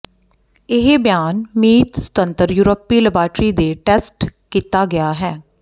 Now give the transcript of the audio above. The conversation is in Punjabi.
ਇਹ ਬਿਆਨ ਮੀਤ ਸੁਤੰਤਰ ਯੂਰਪੀ ਲੈਬਾਰਟਰੀ ਕੇ ਟੈਸਟ ਕੀਤਾ ਗਿਆ ਹੈ